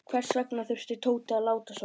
Hvers vegna þurfti Tóti að láta svona.